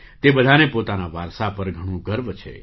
તે બધાને પોતાના વારસા પર ઘણો ગર્વ છે